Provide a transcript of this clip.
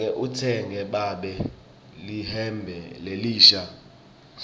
make utsengele babe lihembe lelisha